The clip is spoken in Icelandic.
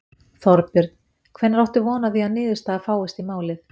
Þorbjörn: Hvenær áttu von á því að niðurstaða fáist í málið?